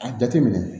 A jateminɛ